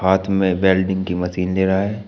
साथ में बेल्डिंग की मशीन ले रहा है।